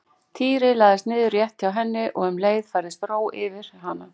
Týri lagðist niður rétt hjá henni og um leið færðist yfir hana ró.